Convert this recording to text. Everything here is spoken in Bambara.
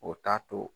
O t'a to